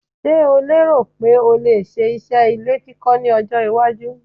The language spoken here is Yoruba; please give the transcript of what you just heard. Ṣeh o lérò pé o lè ṣe iṣẹ́ ilé kíkọ́ ní ọjọ́-iwájú?